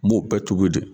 N b'o bɛɛ tobi